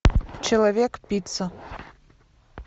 человек пицца